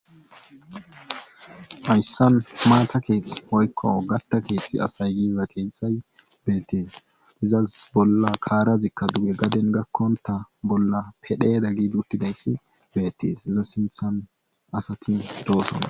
Ayssan maata keethth hoykkow gatta keeththi asay gida keeththay beettees izas bolla kaarazikka duge gaden gakkonta bolla pedheyeda giidi uttidayssi beettees iza simthan asati doosona.